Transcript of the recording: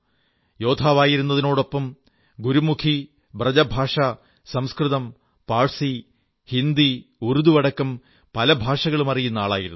യോദ്ധാവായിരുന്നതിനൊപ്പം ഗുരുമുഖി ബ്രജഭാഷ സംസ്കൃതം പാഴ്സി ഹിന്ദി ഉർദു അടക്കം പല ഭാഷകളും അറിയുന്ന ആളായിരുന്നു